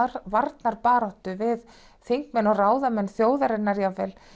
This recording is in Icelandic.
varnarbaráttu við þingmenn og ráðamenn þjóðarinnar jafnvel